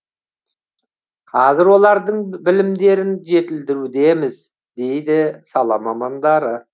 қазір олардың білімдерін жетілдірудеміз дейді сала мамандары